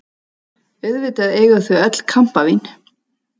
Auðvitað eiga þau öll kampavín!